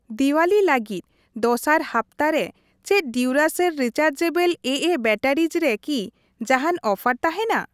ᱫᱤᱣᱟᱞᱤ ᱞᱟᱹᱜᱤᱫ ᱫᱚᱥᱟᱨ ᱦᱟᱯᱛᱟ ᱨᱮ ᱪᱮᱫ ᱰᱤᱩᱨᱟᱥᱮᱞ ᱨᱤᱪᱟᱨᱡᱮᱵᱚᱞ ᱮᱮ ᱵᱮᱴᱟᱨᱤᱡ ᱨᱮ ᱠᱤ ᱡᱟᱦᱟᱱ ᱚᱯᱷᱟᱨ ᱛᱟᱦᱮᱱᱟ ?